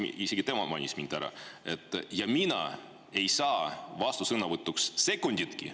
Isegi tema mainis mind ära, aga mina ei saa vastusõnavõtuks sekunditki.